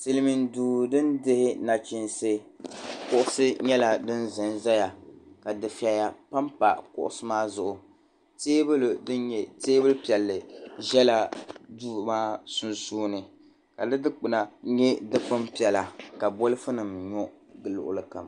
silimiin duu din dihi nachiinsi kuɣisi nyala din zan zaya ka di feya paɣa kuɣisi maa zuɣu teebuli din nye teebuli piɛlli ʒiɛla duu maa sunsuuni ka di kpuna nyɛ di kpun piɛla ka bolifu nim ni gili